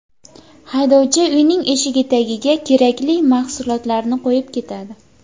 Haydovchi uyning eshigi tagiga kerakli mahsulotlarni qo‘yib ketadi.